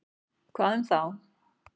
Hvað um þá?